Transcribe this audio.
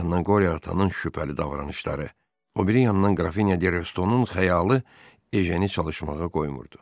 Bir yandan Qori atanın şübhəli davranışları, o biri yandan qrafinya Dərestonun xəyalı Ejen çalışmağa qoymurdu.